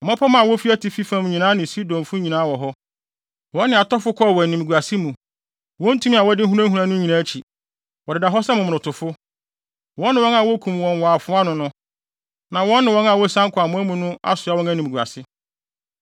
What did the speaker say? “Mmapɔmma a wofi atifi fam nyinaa ne Sidonfo nyinaa wɔ hɔ, wɔne atɔfo kɔɔ wɔ animguase mu, wɔn tumi a wɔde hunahuna no nyinaa akyi. Wɔdeda hɔ sɛ momonotofo, wɔne wɔn a wokum wɔn wɔ afoa ano, na wɔne wɔn a wosian kɔ amoa mu no asoa wɔn animguase.